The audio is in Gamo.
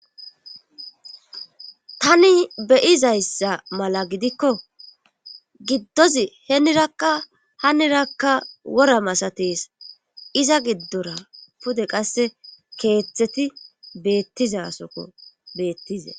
Tani beyizayssa mala gidikko giddozi henirakka hanirakka wora masateesa iza giddora pude qasse keeththeti beettizasokko beettizee.